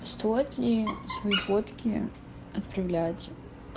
стоит ли свои фотки отправлять